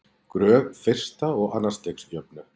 gröf fyrsta og annars stigs jöfnu